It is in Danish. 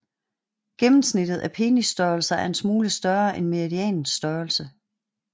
Gennemsnittet af penisstørrelser er en smule større end medianens størrelse